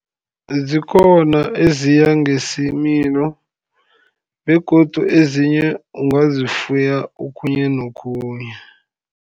Zikhona eziya ngesimilo begodu ezinye ungazifuya okhunye nokhunye.